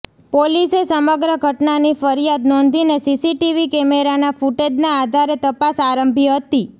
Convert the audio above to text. પોલીસે સમગ્ર ઘટનાની ફરિયાદ નોંધીને સીસીટીવી કેમેરાના ફુટેજના આધારે તપાસ આરંભી હતી